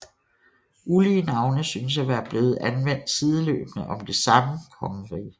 Ulige navne synes at være blevet anvendt sideløbende om det samme kongerige